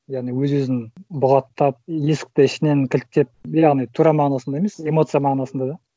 яғни өз өзін бұғаттап есікті ішінен кілттеп яғни тура мағынасында емес эмоция мағынасында да